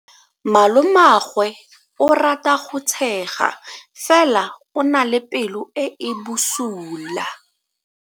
Malomagwe o rata go tshega fela o na le pelo e e bosula.